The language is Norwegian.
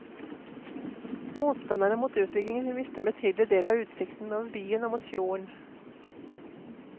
Motstanderne mot utbyggingen vil miste en betydelig del av utsikten over byen og mot fjorden.